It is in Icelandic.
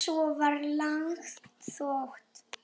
Svo var löng þögn.